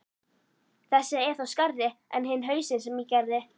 Þessi er þó skárri en hinn hausinn sem ég gerði.